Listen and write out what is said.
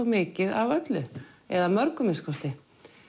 mikið af öllu eða mörgu að minnsta kosti